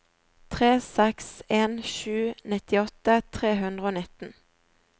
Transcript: tre seks en sju nittiåtte tre hundre og nitten